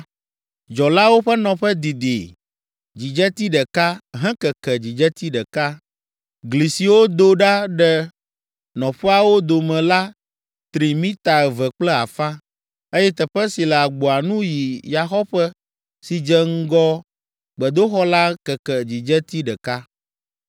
Dzɔlawo ƒe nɔƒe didi dzidzeti ɖeka hekeke dzidzeti ɖeka. Gli siwo do ɖa ɖe nɔƒeawo dome la tri mita eve kple afã, eye teƒe si le agboa nu yi yaxɔƒe si dze ŋgɔ gbedoxɔa la keke dzidzeti ɖeka.